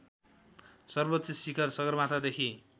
सर्वोच्च शिखर सगरमाथादेखि